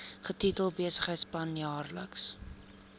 getitel besigheidsplan jaarlikse